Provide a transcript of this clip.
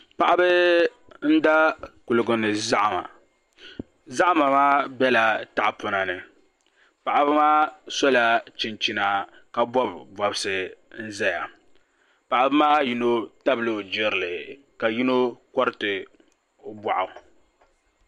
Paɣaba n da kuligi ni zahama zahama maa biɛla tahapona ni paɣaba maa sola chinchina ka bob bobsi n ʒɛya paɣaba maa yino tabila o jirili ka yino koriti o boɣu